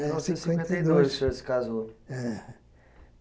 Então cinquenta e dois o senhor se casou. É